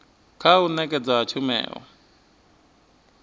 kha u nekedzwa ha tshumelo